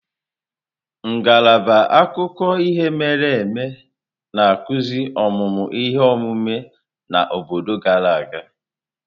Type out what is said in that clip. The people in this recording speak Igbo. Ngalaba akụkọ ihe mere eme na-akụzi ọmụmụ ihe omume na obodo gara aga.